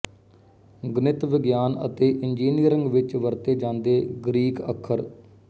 ਗਣਿਤ ਵਿਗਿਆਨ ਅਤੇ ਇੰਜਨਿਅਰਿੰਗ ਵਿੱਚ ਵਰਤੇ ਜਾਂਦੇ ਗਰੀਕ ਅੱਖਰ